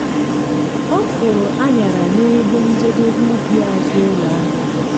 ọ kụrụ aṅyara n'ebe njedebe ubi azụ ụlọ ahụ dị.